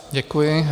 Děkuji.